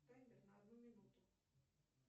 таймер на одну минуту